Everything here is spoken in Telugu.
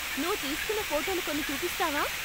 నువ్వు తీస్కున్న ఫోటోలు కొన్ని చూపిస్తావా?